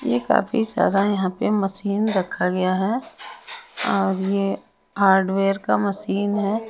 ये काफी सारा यहां पे मशीन रखा गया है और ये हार्डवेयर का मशीन है।